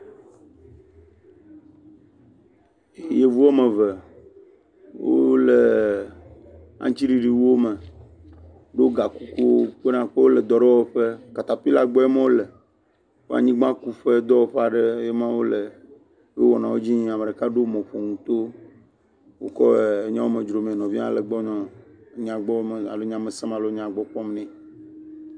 Yevu woame eve wole aŋutiɖiɖiwuwo me, do ga kukuwo ko nakpɔ be wole dɔ aɖe wɔƒe, katapilla gbɔe ma wole, wo anyigbakuƒe dɔwɔƒe aɖee ma wole eye mɔwo le wɔnawo le edzi yim eye ame ɖo mɔƒonu wokɔ le nɔvia hã le nyawo me dzro mee alo wokɔ le nyamele alo nyagbɔmele wokɔ le nya gɔmesem nɛ.